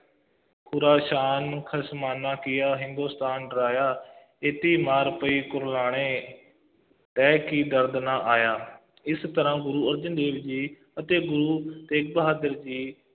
Khorasan ਖਸਮਾਨਾ ਕੀਆ ਹਿੰਦੁਸਤਾਨ ਡਰਾਇਆ, ਏਤੀ ਮਾਰ ਪਈ ਕਰਲਾਣੇ ਤੈਂ ਕੀ ਦਰਦੁ ਨ ਆਇਆ ਇਸ ਤਰ੍ਹਾ ਗੁਰੂ ਅਰਜਨ ਦੇਵ ਜੀ ਅਤੇ ਗੁਰੂ ਤੇਗ ਬਹਾਦਰ ਜੀ,